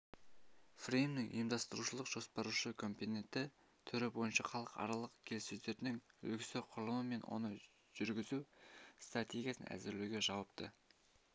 фреймінің ұйымдастырушылық-жоспарлаушы компоненті түрі бойынша халықаралық келіссөздердің үлгісі құрылымы мен оны жүргізу стратегиясын әзірлеуге жауапты